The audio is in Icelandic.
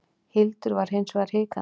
Hildur var hins vegar hikandi.